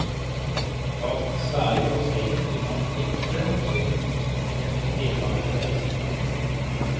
Bak den svære glassveggen kunne man flykte med som en deltager på reisen.